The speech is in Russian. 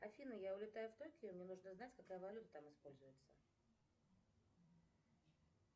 афина я улетаю в токио мне нужно знать какая валюта там используется